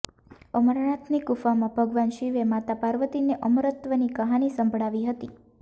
અમરનાથની ગુફામાં ભગવાન શિવએ માતા પાર્વતીને અમરત્વની કહાની સંભળાવી હતી